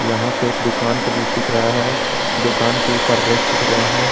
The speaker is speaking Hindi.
यहां पे एक दुकान का दृश्य दिख रहा है दुकान के ऊपर रैक दिख रहे हैं।